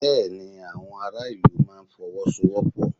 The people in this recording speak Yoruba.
Bẹ́ẹ̀ ni, àwọn ará ìlú máa Fọwọ́sowọ́pọ̀